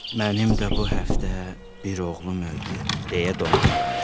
Mənim də bu həftə bir oğlum öldü, deyə donquldanır.